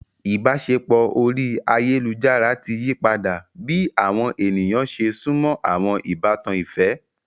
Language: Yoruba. Ibaṣepọ orí ayélujára ti yípadà bi awọn ènìyàn ṣe sunmọ awọn ìbátan ìfẹ.